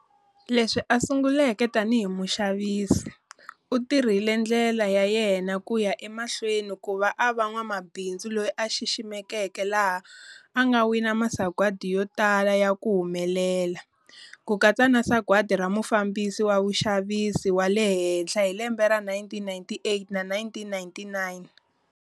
Leswi a sunguleke tanihi muxavisi, u tirhile ndlela ya yena kuya emahlweni kuva a va n'wamabindzu loyi a xiximiwaka laha anga wina masagwadi yotala ya ku humelela, kukatsa na sagwati ra mufambisi wa vuxavisi wa le henhla hi 1998-99.